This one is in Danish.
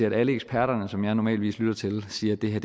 at alle eksperterne som jeg normalvis lytter til siger at det her